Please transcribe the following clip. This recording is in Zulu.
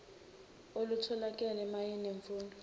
olutholakele mayela nemfundo